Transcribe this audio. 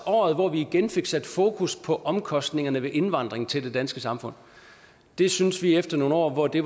året hvor vi igen fik sat fokus på omkostningerne ved indvandring til det danske samfund det synes vi efter nogle år hvor det